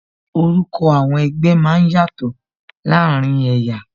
Orúkọ àwọn ẹgbẹ́ máa ń yàtò láàárín ẹ̀yà